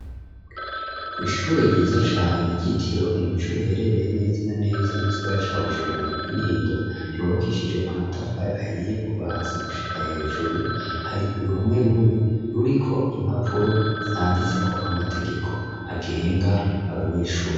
Kw'ishure ryiza cane ryitiriwe umuco riherereye neza na neza mu sigara ca Bujumbura mu Kinindo, ryubakishije amatafari ahiye kuva hasi gushika hejuru. Hari uruhome rumwe ruriko impapuro zanditseko amategeko agenga abanyeshuri.